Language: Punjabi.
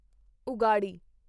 ਉਗਾਡੀ